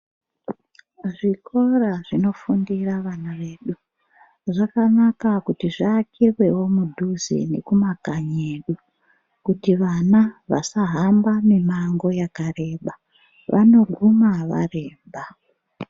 Zvikora zvinofundira vana vedu zvakanaka kuti zviakirwewo mudzuze nekumakanyi edu kuti vana vasahamba mimango yakareba, vanoguma varemba.